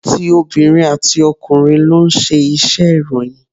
Ti obìnrin àti ọkùnrin ló ń ṣe iṣẹ́ ìròyìn.